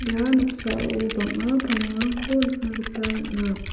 ia noksao bang·a pamongrangko nikna gita man·a.